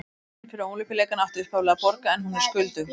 Nefndin fyrir Ólympíuleikana átti upphaflega að borga en hún er skuldug.